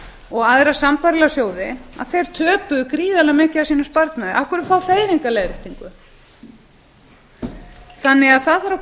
og aðra sambærilega sjóði töpuðu þeir gríðarlega miklu af sparnaði sínum af hverju fá þeir enga leiðréttingu það þarf að